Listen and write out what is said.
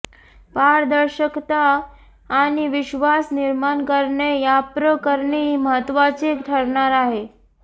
पारदर्शकता आणि विश्वास निर्माण करणे याप्रकरणी महत्त्वाचे ठरणार आहे